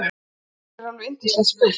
Póker er alveg yndislegt spil.